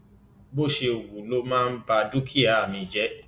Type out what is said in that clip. bó ṣe wù ú ló máa ń ba dúkìá mi jẹ